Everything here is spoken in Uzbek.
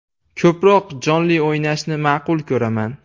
Ko‘proq jonli o‘ynashni ma’qul ko‘raman.